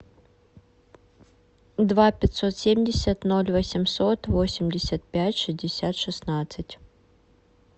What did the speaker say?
два пятьсот семьдесят ноль восемьсот восемьдесят пять шестьдесят шестнадцать